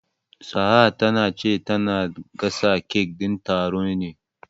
Sa'a ta ce tana gasa kek din taron ne.